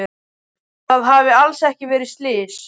Að það hafi alls ekki verið slys.